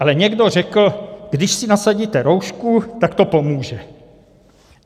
Ale někdo řekl, když si nasadíte roušku, tak to pomůže.